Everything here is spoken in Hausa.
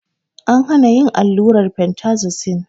An hana yin allurar fentazosin